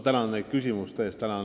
Tänan teid küsimuste eest!